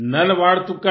नल वाड़ तुक्कल